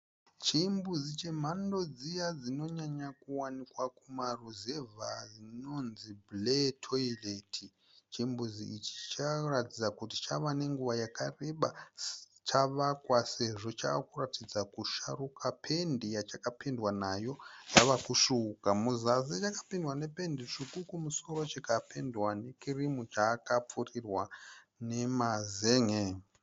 Chimbuzi chemhando dziya dzinonyanyo kuwanikwa kuma ruzevha chinonzi blare toilet. Chimbuzi ichi chavekuratidza kuti chavenenguva yakareba chavakwa sezvo chavekuratidza kusharuka. Pendi yachakapendwa nayo yavakusvuuka kuzasi chakapendwa nependi tsvuku kumusoro chikapendwa ne kirimu. Chakapfirirwa nemazen'e.